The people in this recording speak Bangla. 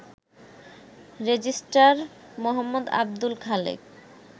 রেজিস্ট্রার মো. আবদুল খালেক